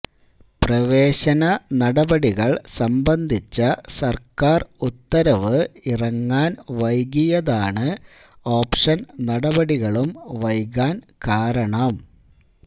പ്രവേശന നടപടികൾ സംബന്ധിച്ച സർക്കാർ ഉത്തരവ് ഇറങ്ങാൻ വൈകിയതാണ് ഓപ്ഷൻ നടപടികളും വൈകാൻ കാരണം